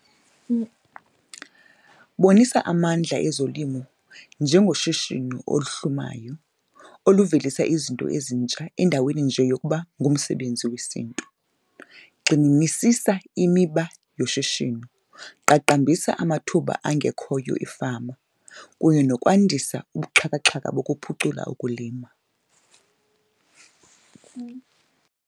Bonisa amandla ezolimo njengoshishino oluhlumayo oluvelisa izinto ezintsha endaweni nje yokuba ngumsebenzi wesiNtu. Gxininisisa imiba yoshishino, qaqambisa amathuba angekhoyo efama kunye nokwandisa ubuxhakaxhaka bokuphucula ukulima.